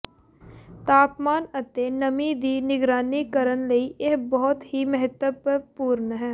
ਤਾਪਮਾਨ ਅਤੇ ਨਮੀ ਦੀ ਨਿਗਰਾਨੀ ਕਰਨ ਲਈ ਇਹ ਬਹੁਤ ਹੀ ਮਹੱਤਵਪੂਰਣ ਹੈ